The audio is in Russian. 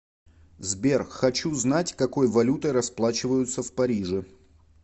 сбер хочу знать какой валютой расплачиваются в париже